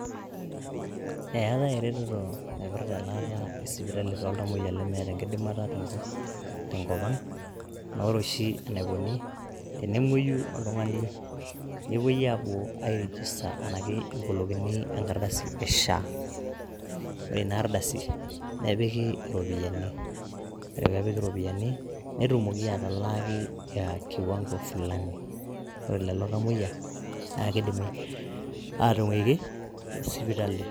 Eeetai ereteto naipirrta elaata esipitali too iltamoyiak lemeeta enkidimata te nkopang, naa ore oshi neikoni ,tenemoiyu oltungani nepoi aapo airijista SHA anaake ebolokini enkardasi e SHA, ore ina ardasi nepiki ropiyiani, ore peepiki ropiyiani netumoki atalaaki ekiwango fulani, ore lelo tamoiya naa keidimi aatung'aki te esipitali.